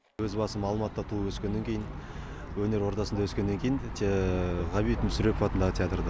өз басым алматыда туып өскеннен кейін өнер ордасында өскеннен кейін ғабит мүсірепов атындағы театрды